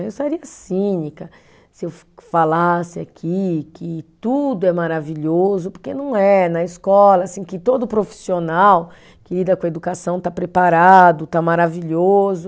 Eu sairia cínica se eu falasse aqui que tudo é maravilhoso, porque não é na escola assim que todo profissional que lida com a educação está preparado, está maravilhoso.